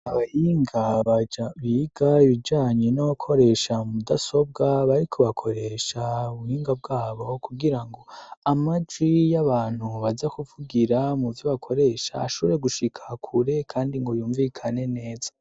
Abahinga biga ibijanye no gukoresha mudasobwa bariko bakoresha ubuhinga bwabo kugira ngo amajwi y'abantu baza kuvugira mu vyo bakoresha ashobore gushikakure kandi ngo yumvikane neza.